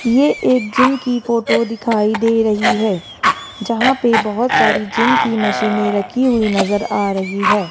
ये एक जिम की फोटो दिखाई दे रही है जहां पे बहोत सारी जिम की मशीनें रखी हुई नज़र आ रही है।